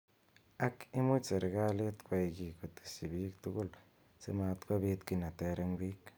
Ak imuch serekalit kwai ki koteshi bik tugul simatkobit ki neter eng bik.